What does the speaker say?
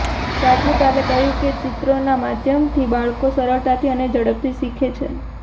રાજ્યપાલે કહ્યું કે ચિત્રોના માધ્યમથી બાળકો સરળતાથી અને ઝડપથી શીખે છે